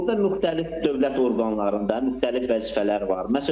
Burda müxtəlif dövlət orqanlarında, müxtəlif vəzifələr var.